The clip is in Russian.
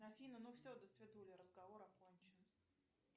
афина ну все досвидули разговор окончен